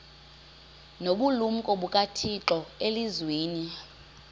nobulumko bukathixo elizwini